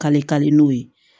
Kalikadi n'o ye